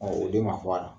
o den ma fɔ a la